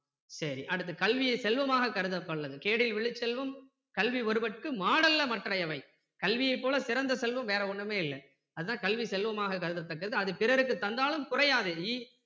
சரி அடுத்து கல்வியை செல்வமாக கேடில் விழுச்செல்வம் கல்வி ஒருவருக்கு மாடல்ல மற்றையவை கல்வியை போல சிறந்த செல்வம் வேற ஒன்னுமே இல்ல அதான் கல்வி செல்வமாக கருதத்தக்கது அது பிறருக்கு தந்தாலும் குறையாது